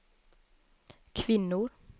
kvinnor